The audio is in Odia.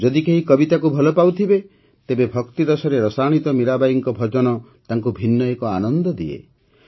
ଯଦି କେହି କବିତାକୁ ଭଲପାଉଥିବ ତେବେ ଭକ୍ତିରସରେ ରସାଣିତ ମୀରାବାଈଙ୍କ ଭଜନ ତାଙ୍କ ଭିନ୍ନ ଏକ ଆନନ୍ଦ ଦିଏ